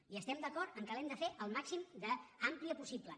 i estem d’acord que l’hem de fer el màxim d’àmplia possible